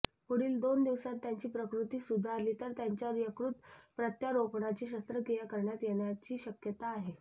पुढील दोन दिवसांत त्यांची प्रकृती सुधारली तर त्यांच्यावर यकृत प्रत्यारोपणाची शस्त्रक्रिया करण्यात येण्याची शक्यता आहे